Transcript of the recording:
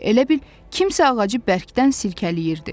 Elə bil kimsə ağacı bərkdən silkələyirdi.